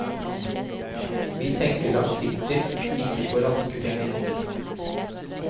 Vi tenker langsiktig, ikke på raske penger.